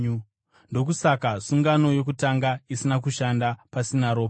Ndokusaka sungano yokutanga isina kushanda pasina ropa.